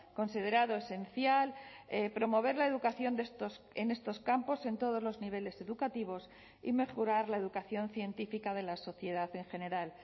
considerado esencial promover la educación en estos campos en todos los niveles educativos y mejorar la educación científica de la sociedad en general